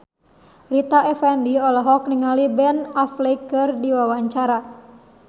Rita Effendy olohok ningali Ben Affleck keur diwawancara